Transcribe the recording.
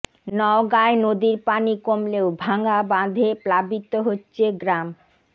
নওগাঁয় নদীর পানি কমলেও ভাঙা বাঁধে প্লাবিত হচ্ছে গ্রাম